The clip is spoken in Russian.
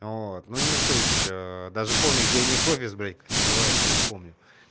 ну вот не суть даже помню где у них офис блять как называется не помню